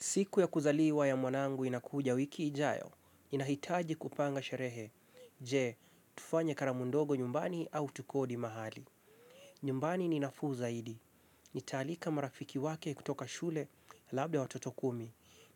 Siku ya kuzaliwa ya mwanangu inakuja wiki ijayo, inahitaji kupanga sherehe. Je? Tufanye karamu ndogo nyumbani au tukodi mahali? Nyumbani ni nafuu zaidi. Nitaalika marafiki wake kutoka shule labda watoto kumi.